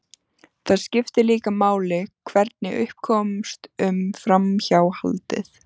Það skiptir líka máli hvernig upp komst um framhjáhaldið.